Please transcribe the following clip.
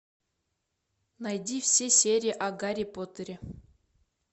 найди все серии о гарри поттере